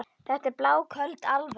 Þetta er bláköld alvara.